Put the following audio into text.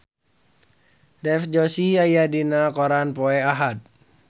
Dev Joshi aya dina koran poe Ahad